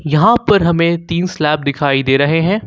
यहां पर हमें तीन स्लैब दिखाई दे रहे हैं।